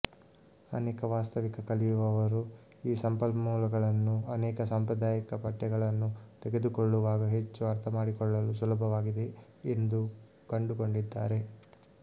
ಅನೇಕ ವಾಸ್ತವಿಕ ಕಲಿಯುವವರು ಈ ಸಂಪನ್ಮೂಲಗಳನ್ನು ಅನೇಕ ಸಾಂಪ್ರದಾಯಿಕ ಪಠ್ಯಗಳನ್ನು ತೆಗೆದುಕೊಳ್ಳುವಾಗ ಹೆಚ್ಚು ಅರ್ಥಮಾಡಿಕೊಳ್ಳಲು ಸುಲಭವಾಗಿದೆ ಎಂದು ಕಂಡುಕೊಂಡಿದ್ದಾರೆ